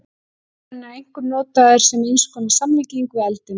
Forliðurinn er einkum notaður sem eins konar samlíking við eldinn.